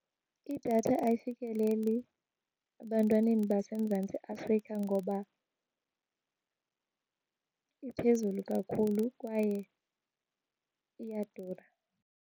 Idatha ayifikeleli ebantwaneni baseMzantsi Afrika ngoba iphezulu kakhulu kwaye iyadura.